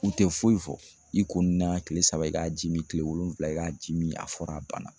U tɛ foyi fɔ i ko nin na tile saba i k'a ji min tile wolonwula i k'a ji min a fɔra a banna